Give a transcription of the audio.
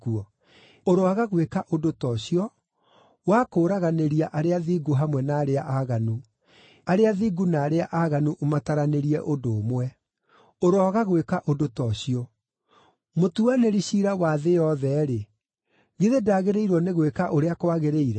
Ũroaga gwĩka ũndũ ta ũcio, wa kũũraganĩria arĩa athingu hamwe na arĩa aaganu, arĩa athingu na arĩa aaganu ũmataranĩrie ũndũ ũmwe. Ũroaga gwĩka ũndũ ta ũcio! Mũtuanĩri ciira wa thĩ yothe-rĩ, githĩ ndagĩrĩirwo nĩ gwĩka ũrĩa kwagĩrĩire?”